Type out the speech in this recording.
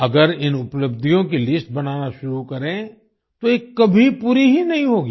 अगर इन उपलब्धियों की लिस्ट बनाना शुरू करें तो ये कभी पूरी ही नहीं होगी